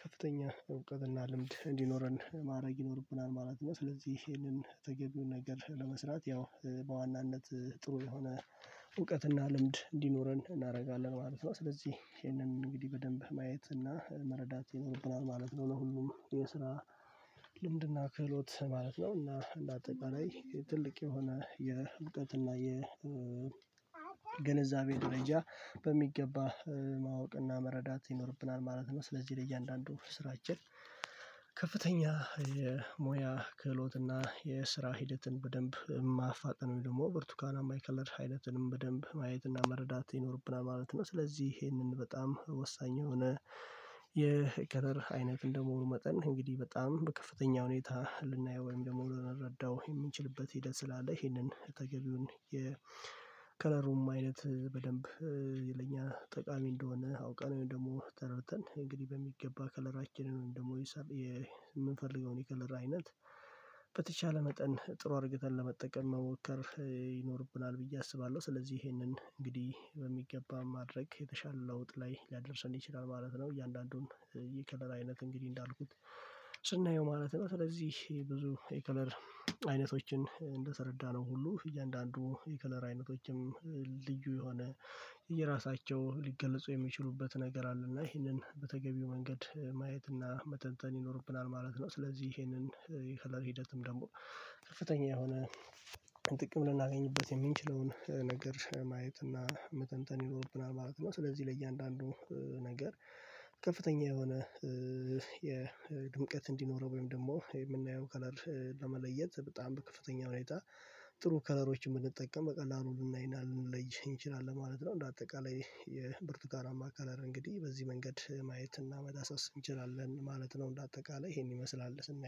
ከፍተኛ እውቀትና ልምድ እንዲኖረን ማድረግ ይኖርብናል ማለት ነው። ስለዚህ ይሄንን ተገቢውን ነገር ለመስራት ያው በዋናነት ጥሩ የሆነ እውቀትና ልምድ እንዲኖረን እናደርጋለን ማለት ነው። ስለዚህ ይሄንን እንግዲህ በደንብ ማየት እና መረዳት ይኖርብናል ማለት ነው ለሁሉም የስራ ልምድና ክህሎት ማለት ነው እና እንደ አጠቃላይ ትልቅ የሆነ የእውቀት እና ግንዛቤ ደረጃ በሚገባ ማወቅና መረዳት ይኖርብናል ማለት ነው። ስለዚህ ለእያንዳንዱ ስራችን ከፍተኛ የሞያ ክህሎትና የስራ ሂደትን በደንብ ማፋጠን ደግሞ ብርቱካናማ ከለር ሂደትንም በደንብ ማየትና መረዳት ይኖርብና ማለት ነው። ስለዚህ ይሄንን በጣም ወሳኝ የሆነ የከለር አይነት እንደመሆኑ መጠን እንግዲህ በጣም በከፍተኛ ሁኔታ ልናየው ወይም ደግሞ ልንረዳው የምንችልበት ሄደት ስላለ ይሄንን ተገቢውን የከለሩም አይነት በደንብ የለኛ ጠቃሚ እንደሆነ አውቀናል ደግሞ ተረድተን እንግዲህ በሚገባ ከለራችንን ደግሞ የምንፈልገውን የከለራ አይነት በተቻለ መጠን ጥሩ አድርገን ለመጠቀም መሞከር ይኖርብናል ብዬ አስባለሁ። ስለዚህ ይሄንን እንግዲህ በሚገባ ማድረግ የተሻለ ለውጥ ላይ ሊያደርሰን ይችላል ማለት ነው። እያንዳንዱን የከለር አይነት እንግዲህ እንዳልኩት ስናየው ማለት ነው ስለዚህ ብዙ የከለር አይነቶችን እንደተረዳነው ሁሉ እያንዳንዱ የከለር አይነቶችም ልዩ የሆነ የራሳቸው ሊገለፁ የሚችሉበት ነገር አለ እና ይሄንን በተገቢው መንገድ ማየት እና መተንተን ይኖርብናል ማለት ነው። ስለዚህ ይሄንን ሃለፊነት ሂደትም ደግሞ ከፍተኛ የሆነ ጥቅም ልናገኝበት የምንችለውን ነገር ማየት እና መተንተን ይኖርብናል ማለት ነው። ስለዚህ ለእያንዳንዱ ነገር ከፍተኛ የሆነ የድምቀት እንዲኖረው ወይም ደግሞ የምናየው ከለር ለመለየት በጣም በከፍተኛ ሁኔታ ጥሩ ከለሮችን ብንጠቀም በቀላሉ ልናይና ልንለይ እንችላለን ማለት ነው። እንደ አጠቃላይ የብርቱካና ከለር እንግዲህ በዚህ መንገድ ማየት እና መዳሰስ እንችላለን ማለት ነው። እንደ አጠቃላይ ይሄን ይመስላል ስናየው